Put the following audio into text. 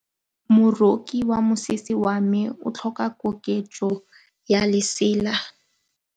Moroki wa mosese wa me o tlhoka koketsô ya lesela.